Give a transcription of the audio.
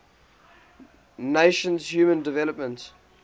nations human development